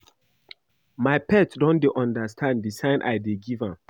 My pet don dey understand the sign I dey give am